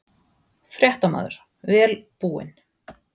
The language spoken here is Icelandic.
Fréttamaður: Vel búin?